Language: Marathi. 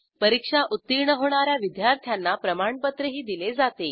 परीक्षा उत्तीर्ण होणा या विद्यार्थ्यांना प्रमाणपत्रही दिले जाते